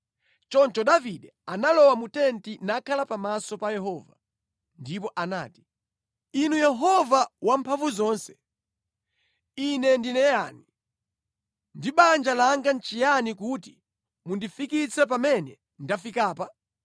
Choncho Davide analowa mu tenti nakhala pamaso pa Yehova, ndipo anati: “Inu Yehova Wamphamvuzonse, ine ndine yani, ndipo banja langa nʼchiyani kuti mundifikitse pamene ndafikapa?”